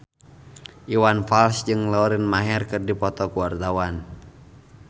Iwan Fals jeung Lauren Maher keur dipoto ku wartawan